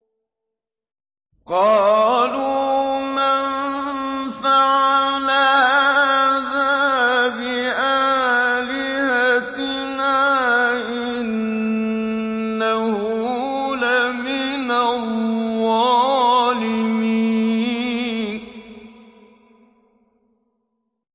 قَالُوا مَن فَعَلَ هَٰذَا بِآلِهَتِنَا إِنَّهُ لَمِنَ الظَّالِمِينَ